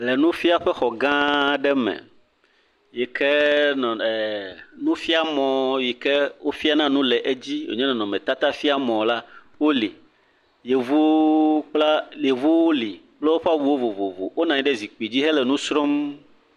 Le nufiaƒe xɔ gã aɖe me yike ee nufiamɔ yike wofiana nu le edzi wònye nɔnɔmetata fiamɔ la wole, yevuwo kple yevuwo le kple woƒe awuwo vovovo, wonɔ anyi ɖe zikpui dzi hele nu srɔ̃m.